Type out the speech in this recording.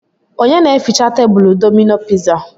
Onye na eficha tebulu Domino piza?